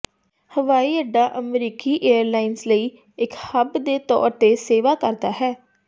ਹਵਾਈ ਅੱਡਾ ਅਮਰੀਕੀ ਏਅਰਲਾਈਨਜ਼ ਲਈ ਇੱਕ ਹੱਬ ਦੇ ਤੌਰ ਤੇ ਸੇਵਾ ਕਰਦਾ ਹੈ